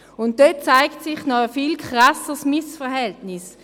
Dort zeigte sich noch ein viel krasseres Missverhältnis.